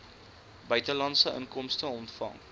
buitelandse inkomste ontvang